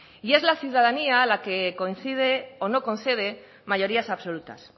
y es la ciudadanía la que concede o no concede mayorías absolutas